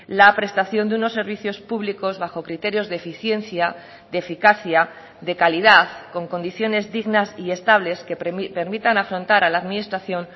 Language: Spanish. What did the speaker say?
la prestación de unos servicios públicos bajo criterios de eficiencia de eficacia de calidad con condiciones dignas y estables que permitan afrontar a la administración